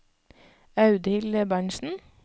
Audhild Berntsen